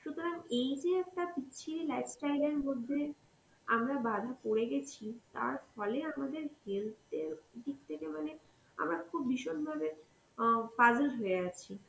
সুতরাং, এইযে একটা বিচ্ছিরি life style এর মধ্যে আমরা বাধা পড়ে গেছি তার ফলে আমাদের health এর দিক থেকে মানে আমরা খুব ভীষণভাবে অ্যাঁ puzzled হয়ে আছি.